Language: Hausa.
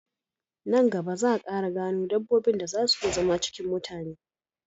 Nan gaba za a Ƙara gano dabbobin da zan si iya zama cikin mutane